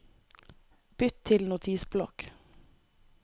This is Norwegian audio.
Bytt til Notisblokk